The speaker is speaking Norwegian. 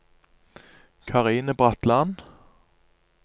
Karine Bratland